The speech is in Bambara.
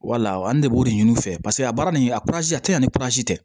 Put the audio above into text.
Wala an ne de b'o de ɲini u fɛ paseke a baara nin a kurazi a tɛ na ni tɛ